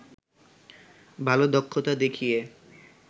ভাল দক্ষতা দেখিয়ে